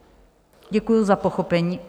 Děkuji za pochopení.